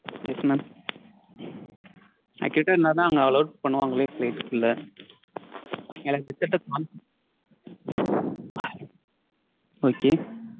Yes mam Accurate இருந்தாதா அங்க allow பண்ணுவாங்களே flight குள்ள. ஏன்னா result ட்ட okay